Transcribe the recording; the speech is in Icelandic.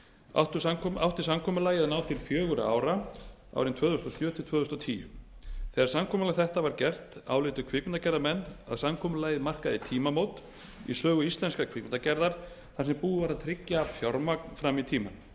átti samkomulagið að ná til fjögurra ára tvö þúsund og sjö til tvö þúsund og tíu þegar samkomulag þetta var gert álitu kvikmyndagerðarmenn að samkomulagið markaði tímamót í sögu íslenskrar kvikmyndagerðar þar sem búið var að tryggja fjármagn fram í tímann